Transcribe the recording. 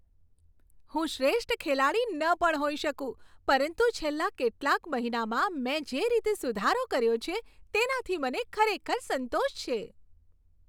હું શ્રેષ્ઠ ખેલાડી ન પણ હોઈ શકું પરંતુ છેલ્લા કેટલાક મહિનામાં મેં જે રીતે સુધારો કર્યો છે તેનાથી મને ખરેખર સંતોષ છે.